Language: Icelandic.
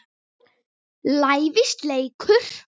lævís leikur.